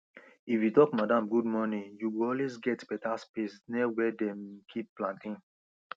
if you talk madam good morning you go always get better space near where dem keep plantain